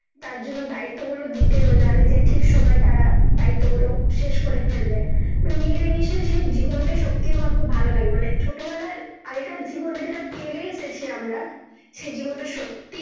তার জন্যে দায়িত্ব গুলো দিতেন জানে যে ঠিক সময় তারা দায়িত্ব গুলো শেষ করে ফেলবে মানে মিলে মিশে সে জীবন টা সত্যি খুব ভালো লাগে মানে ছোট বেলায় আগে কার জীবন টা যেতা ফেলে এসেছি আমরা সে জীবনটা সত্যি